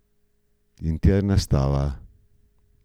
Interna stava.